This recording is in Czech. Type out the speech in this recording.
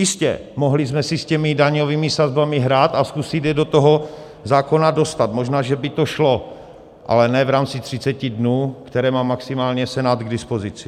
Jistě, mohli jsme si s těmi daňovými sazbami hrát a zkusit je do toho zákona dostat, možná že by to šlo, ale ne v rámci 30 dnů, které má maximálně Senát k dispozici.